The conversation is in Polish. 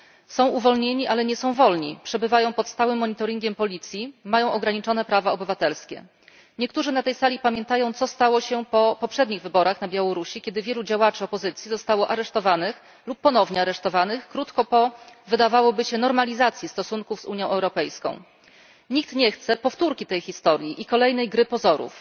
Są uwolnieni, ale nie są wolni. Przebywają pod stałym monitoringiem policji, mają ograniczone prawa obywatelskie. Niektórzy na tej sali pamiętają, co stało się po poprzednich wyborach na Białorusi, kiedy wielu działaczy opozycji zostało aresztowanych lub ponownie aresztowanych krótko po wydawałoby się normalizacji stosunków z Unią Europejską. Nikt nie chce powtórki tej historii i kolejnej gry pozorów.